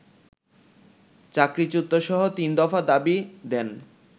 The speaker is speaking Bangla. চাকরিচ্যুতসহ তিনদফা দাবি দেন